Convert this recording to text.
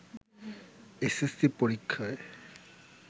SSC পরীক্ষায়